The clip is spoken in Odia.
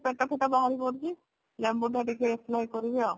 ବାହାର କରୁଛି ମୁଁ ତ ଟିକେ apply କରିବି ଆଉ